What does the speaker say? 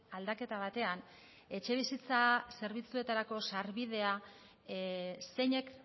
aldaketa batean etxebizitza zerbitzuetarako sarbidea zeinek